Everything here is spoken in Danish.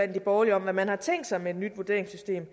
de borgerlige om hvad man har tænkt sig med et nyt vurderingssystem